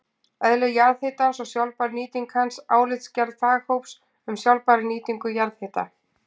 Eðli jarðhitans og sjálfbær nýting hans: Álitsgerð faghóps um sjálfbæra nýtingu jarðhita.